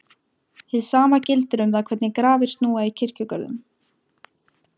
Hið sama gildir um það hvernig grafir snúa í kirkjugörðum.